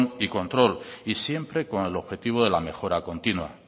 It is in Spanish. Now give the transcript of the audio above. y control y siempre con el objetivo de la mejora continua